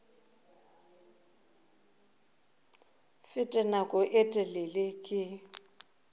fete nako ye telele ke